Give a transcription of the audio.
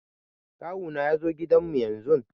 Kawu na ya zo gidan mu yanzun